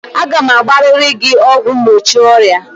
Aga m agbarịrị gị ọgwụ mgbochi ọrịa!